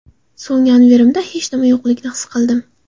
So‘ng yonverimda hech nima yo‘qligini his qildim.